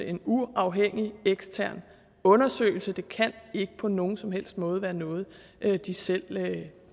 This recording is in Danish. en uafhængig ekstern undersøgelse det kan ikke på nogen som helst måde være noget de selv